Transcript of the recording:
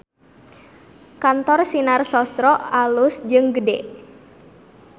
Kantor Sinar Sosro alus jeung gede